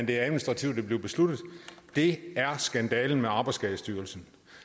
det administrativt er blevet besluttet det er skandalen med arbejdsskadestyrelsen